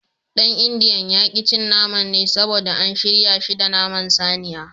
Dan indiyan ya ki cin naman ne saboda an shirya shi da naman saniya.